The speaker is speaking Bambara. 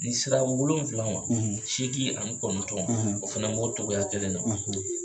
N'i sera wolonwula ma seegin ani kɔnɔntɔn ma o fana b'o cogoya kelen na